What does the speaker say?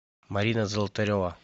марина золотарева